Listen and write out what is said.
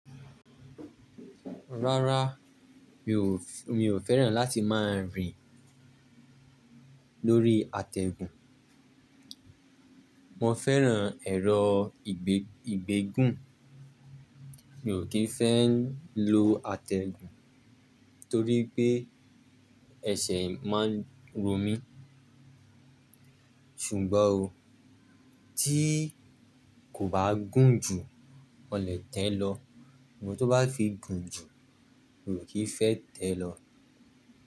Rárá, mi ò, mi ò fẹ́ràn láti máa rìn lórí àtẹ̀gùn. Mo fẹ́ràn ẹ̀rọ ìgbè, ìgbégùn. Mi ò kì í fẹ́ ń lo àtẹ̀gùn torí pé ẹsẹ̀ máa ń ro mí. Ṣùgbọ́n o, tí kò bá gùn jù, mo lè tẹ̀ẹ́ lọ. Sugbon tó bá fi gùn jù, mi ò kí ń fẹ́ tẹ̀ẹ́ lọ.